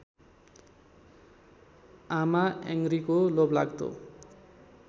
आमा याङरीको लोभलाग्दो